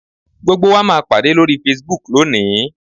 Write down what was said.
Gbogbo wa máa pàdé lórí Facebook lónìí